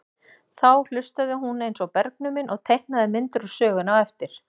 Þá hlustaði hún eins og bergnumin og teiknaði myndir úr sögunni á eftir.